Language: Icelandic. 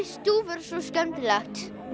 stúfur er svo skemmtilegur